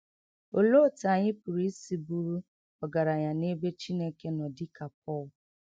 Òlee òtú ànyị pụrụ ísì bùrù ògaránya n’èbè Chìnèké nọ dị̀ ka Pọl?